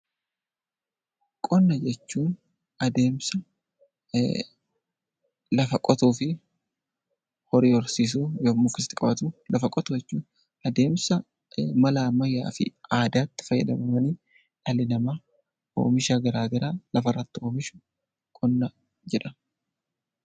Qonna jechuun adeemsa lafa qotuu fi horii horsiisuun lafa qotu jechuudha. Adeemsa mala ammayyaa fi aadaatti fayyadamuudhaan dhalli namaa oomisha garaagaraa lafa irratti oomishu qonna jedhama.